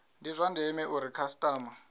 ndi zwa ndeme uri khasitama